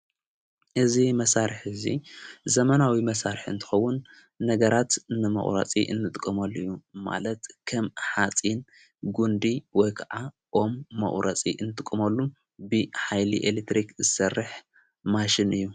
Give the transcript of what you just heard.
እዙ መሣርሕ እዙይ ዘመናዊ መሣርሕ እንተኸውን ነገራት ንመቝረፂ እንጥቆመሉ እዩ ማለት ከም ኃጺን ጕንዲ ወ ከዓ ኦም መቝረፂ እንትቁመሉ ብኃይሊ ኤሌትሪክ ዝሠርሕ ማሽን እዩ::